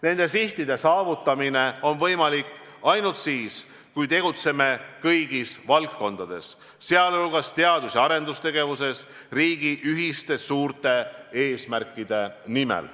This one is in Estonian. Nende sihtide saavutamine on võimalik ainult siis, kui tegutseme kõigis valdkondades, sh teadus- ja arendustegevuses, riigi ühiste suurte eesmärkide nimel.